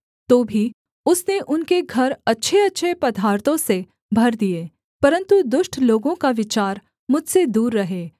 तो भी उसने उनके घर अच्छेअच्छे पदार्थों से भर दिए परन्तु दुष्ट लोगों का विचार मुझसे दूर रहे